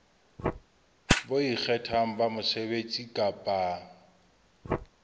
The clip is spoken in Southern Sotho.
bo ikgethang ba mosebetsi kapa